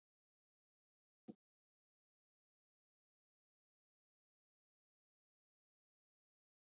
Valdimar nikkaði til hans og leitaði að uppsprettu skarkalans.